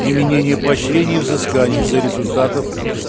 применение поощрений и взысканий за результатов